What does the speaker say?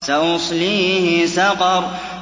سَأُصْلِيهِ سَقَرَ